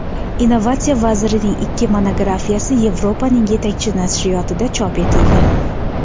Innovatsiya vazirining ikki monografiyasi Yevropaning yetakchi nashriyotida chop etildi.